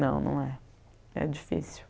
Não, não é. É difícil.